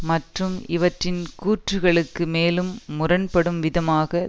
மற்றும் இவற்றின் கூற்றுக்களுக்கு மேலும் முரண் படும் விதமாக